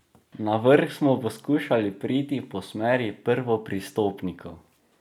Na vrh smo poskušali priti po smeri prvopristopnikov.